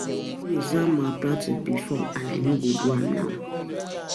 I never do exam malpractice before and I no go do am now